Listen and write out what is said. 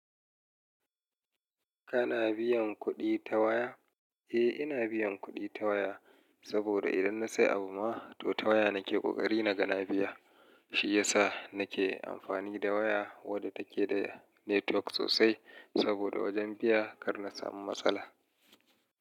Kana biyan kuɗi ta waya? Eh, ina biyan kuɗi ta waya. Saboda idan na sayi abu ma, to ta waya nake ƙoƙari na gana biya. Shi ya sa nake amfani da waya wadda take da netwok sosai. Saboda wajen biya kar na samu matsala.